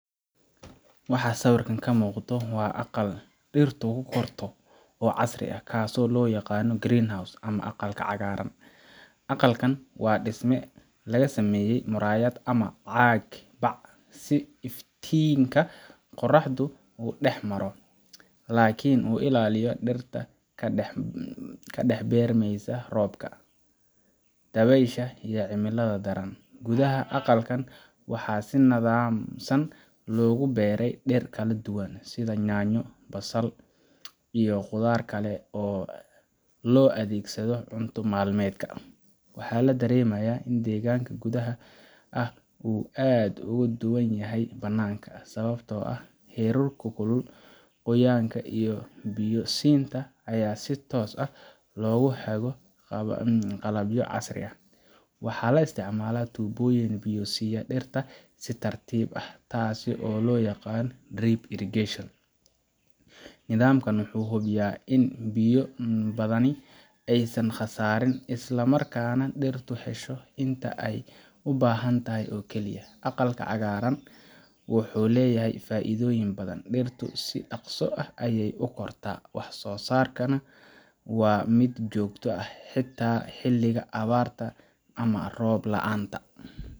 Waxaa sawirka ka muuqda aqal dhirtu ku korto oo casri ah, kaasoo loo yaqaanno greenhouse ama aqal cagaaran. Aqal kan waa dhisme laga sameeyay muraayad ama caag si iftiinka qoraxda u dhex maro, laakiin uu ilaaliyo dhirta ka dhex beermeysa roobka, dabaysha, iyo cimilada daran. Gudaha aqalkan waxaa si nidaamsan loogu beeraa dhir kala duwan sida yaanyo, basasha, iyo khudaarta kale ee loo adeegsado cunto maalmeedka. Waxaa la dareemayaa in deegaanka gudaha ah uu aad uga duwan yahay banaanka sababtoo ah heerkulka, qoyaan iyo biyo siinta ayaa si toos ah loogu hago qalabyo casri ah. Waxaa la isticmaalaa tuubooyin biyo siiya dhirta si tartiib ah, taas oo loo yaqaan drip irrigation. Nidaamkan wuxuu hubiyaa in biyo badani aysan khasaarin, isla markaana dhirtu hesho inta ay u baahantahay oo keliya. Aqalka cagaaran wuxuu leeyahay faa’iidooyin badan: dhirtu si dhaqso ah ayey u kortaa, wax soosaarkuna waa mid joogto ah, xitaa xilliga abaarta ama roob la’aanta